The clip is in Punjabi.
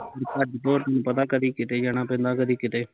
ਭੱਜ ਦੋਰ ਤੈਨੂ ਪਤਾ ਕਦੀ ਕਿਤੇ ਜਾਣਾ ਪੈਂਦਾ ਕਦੀ ਕਿਤੇ